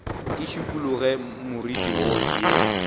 ke šikologe moriti wo ye